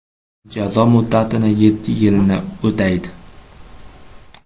Jazo muddatining yetti yilini o‘taydi.